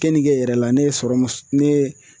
Kenige yɛrɛ la ne ye sɔrɔ mun ne ye